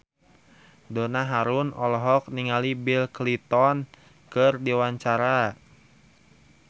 Donna Harun olohok ningali Bill Clinton keur diwawancara